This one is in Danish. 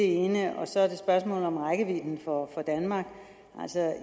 ene så er der spørgsmålet om rækkevidden for danmark